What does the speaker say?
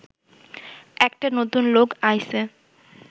একটা নতুন লোক আইছে